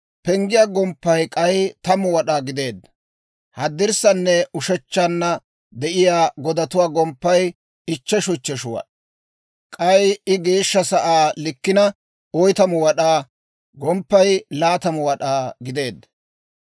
Penggiyaa gomppay k'ay 10 wad'aa gideedda. Haddirssananne ushechchanna de'iyaa godatuwaa gomppay ichcheshu ichcheshu wad'aa. K'ay I Geeshsha Sa'aa likkina 40 wad'aa, gomppaykka 20 wad'aa gideedda.